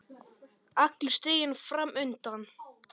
Allur stiginn fram undan.